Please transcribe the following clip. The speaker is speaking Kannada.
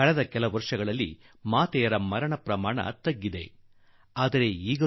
ಕಳೆದ ದಶಕದಲ್ಲಿ ತಾಯಿಯ ಅಕಾಲಿಕ ಮರಣ ಪ್ರಮಾಣವೇನೋ ಕಡಿಮೆ ಆಗಿರುವುದು ನಿಜ